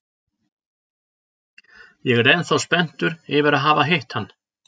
Ég er ennþá spenntur yfir að hafa hitt hann!